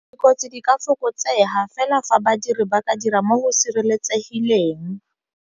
Dikotsi di ka fokotsega fela fa badiri ba ka dira mo go sireletsegileng.